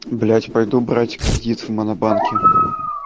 блять пойду брать кредит в монобанке